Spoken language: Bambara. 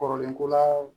Kɔrɔlen ko la